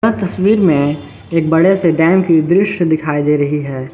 ये तस्वीर में एक बड़े से डैम की दृश्य दिखाई दे रही है।